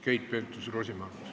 Keit Pentus-Rosimannus.